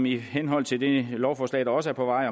i henhold til det lovforslag der også er på vej